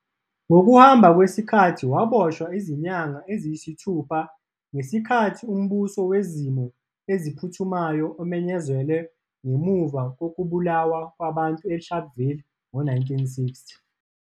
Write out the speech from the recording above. Ngokuhamba kwesikhathi waboshwa izinyanga eziyisithupha ngesikhathi uMbuso Wezimo Eziphuthumayo umenyezelwe ngemuva kokubulawa kwabantu eSharpeville ngo-1960.